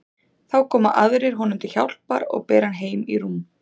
Þá koma aðrir honum til hjálpar og bera hann heim í rúm.